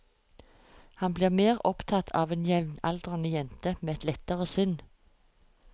Han blir mer opptatt av en jevnaldrende jente med et lettere sinn.